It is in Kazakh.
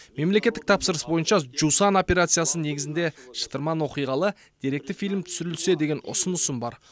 мемлекеттік тапсырыс бойынша жусан операциясы негізінде шытырман оқиғалы деректі фильм түсірілсе деген ұсынысым бар